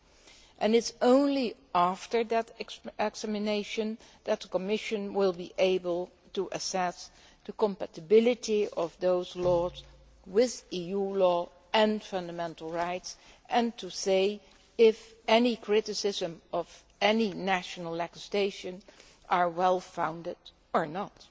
It is only after this examination that the Commission will be able to assess the compatibility of those laws with EU law and fundamental rights and to say if any criticism of national legislation is well founded or not.